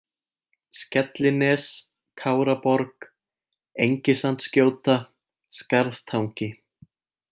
Skellines, Káraborg, Engisandsgjóta, Skarðstangi